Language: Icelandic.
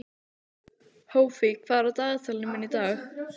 Hófí, hvað er á dagatalinu mínu í dag?